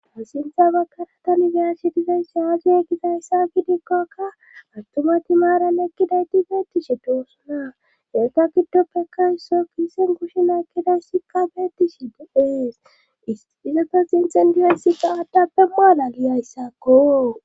ha sintha bakara tani beashe dizayssi aaziye gizayssa gidikkokka attumati maaran ekkidayti beettishi doosunaa eeta giddoppe issoy kiisen kushe nakkidaysikka beettishi de7ees izeeta sinthan diyeysikka aaddappe muaalaliyayssakko